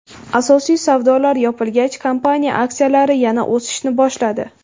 Asosiy savdolar yopilgach, kompaniya aksiyalari yana o‘sishni boshladi.